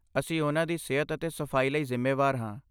ਅਸੀਂ ਉਨ੍ਹਾਂ ਦੀ ਸਿਹਤ ਅਤੇ ਸਫਾਈ ਲਈ ਜ਼ਿੰਮੇਵਾਰ ਹਾਂ।